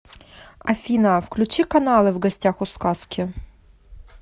афина включи каналы в гостях у сказки